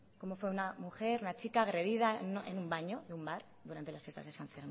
como fue una mujer una chica fue agredida en un baño en un bar durante la fiesta san fermín